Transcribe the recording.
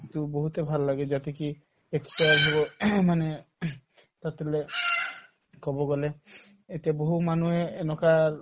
এইটো বহুতে ভাল লাগে যাতে হব মানে কব গলে এতিয়া বহু মানুহে এনেকুৱাৰ